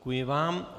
Děkuji vám.